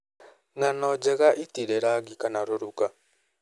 Ng'ano njega ĩtirĩ rangi kana rũruka.